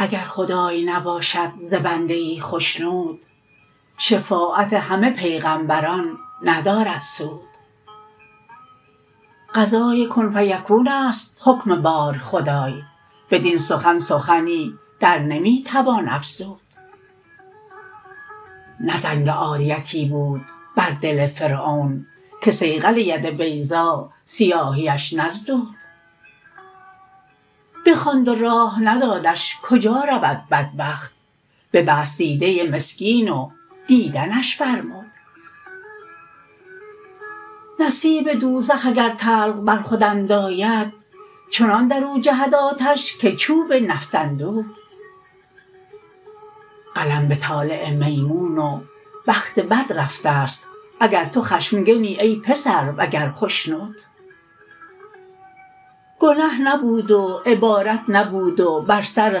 اگر خدای نباشد ز بنده ای خشنود شفاعت همه پیغمبران ندارد سود قضای کن فیکون است حکم بار خدای بدین سخن سخنی در نمی توان افزود نه زنگ عاریتی بود بر دل فرعون که صیقل ید بیضا سیاهیش نزدود بخواند و راه ندادش کجا رود بدبخت ببست دیده مسکین و دیدنش فرمود نصیب دوزخ اگر طلق بر خود انداید چنان در او جهد آتش که چوب نفط اندود قلم به طالع میمون و بخت بد رفته ست اگر تو خشمگنی ای پسر وگر خشنود گنه نبود و عبادت نبود و بر سر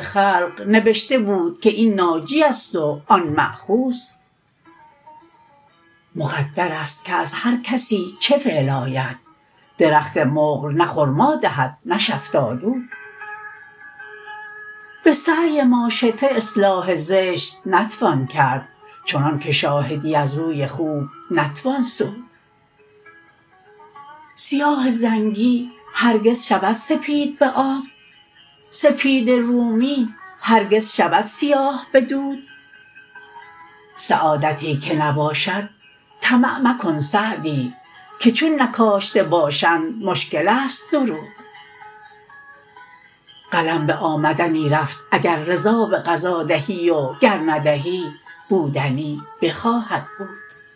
خلق نبشته بود که این ناجی است و آن مأخوذ مقدر است که از هر کسی چه فعل آید درخت مقل نه خرما دهد نه شفتالود به سعی ماشطه اصلاح زشت نتوان کرد چنان که شاهدی از روی خوب نتوان سود سیاه زنگی هرگز شود سپید به آب سپید رومی هرگز شود سیاه به دود سعادتی که نباشد طمع مکن سعدی که چون نکاشته باشند مشکل است درود قلم به آمدنی رفت اگر رضا به قضا دهی و گر ندهی بودنی بخواهد بود